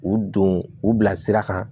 U don u bila sira kan